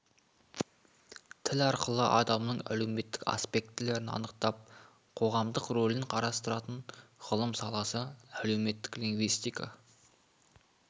тіл арқылы адамның әлеуметтік аспектілерін анықтап қоғамдық ролін қарастыратын ғылым саласы әлеуметтік лингвистика